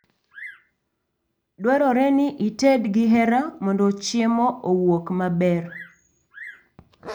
Dwarore ni ited gi hera mondo chiemo owuok maber